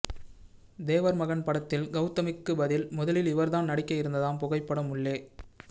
தேவர் மகன் படத்தில் கெளதமிக்கு பதில் முதலில் இவர்தான் நடிக்க இருந்ததாம் புகைப்படம் உள்ளே